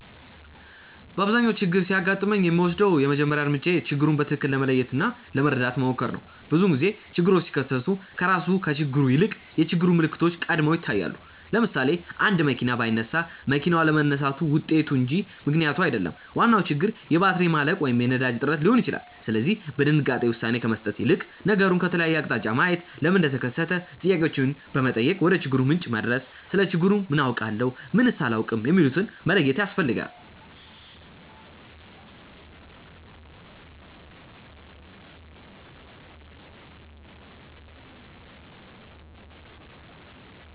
በአብዛኛው ችግር ሲያጋጥመኝ የምወስደው የመጀመሪያው እርምጃዬ ችግሩን በትክክል ለመለየት እና ለመረዳት መሞከር ነው። ብዙውን ጊዜ ችግሮች ሲከሰቱ ከራሱ ከችግሩ ይልቅ የችግሩ ምልክቶች ቀድመው ይታያሉ። ለምሳሌ፣ አንድ መኪና ባይነሳ መኪናው አለመነሳቱ ውጤቱ እንጂ ምክንያቱ አይደለም፤ ዋናው ችግር የባትሪ ማለቅ ወይም የነዳጅ እጥረት ሊሆን ይችላል። ስለዚህ በድንጋጤ ውሳኔ ከመስጠት ይልቅ ነገሩን ከተለያየ አቅጣጫ ማየት፣ ለምን እንደተከሰተ ጥያቄዎችን በመጠየቅ ወደችግሩ ምንጭ መድረስ፣ ስለ ችግሩ ምን አውቃለሁ? ምንስ አላውቅም? የሚሉትን መለየት ያስፈልጋል።